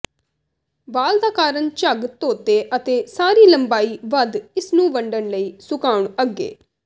ਵਾਲ ਦਾ ਕਾਰਨ ਝੱਗ ਧੋਤੇ ਅਤੇ ਸਾਰੀ ਲੰਬਾਈ ਵੱਧ ਇਸ ਨੂੰ ਵੰਡਣ ਲਈ ਸੁਕਾਉਣ ਅੱਗੇ